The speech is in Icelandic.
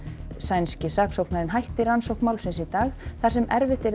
sænski saksóknarinn hætti rannsókn málsins í dag þar sem erfitt yrði að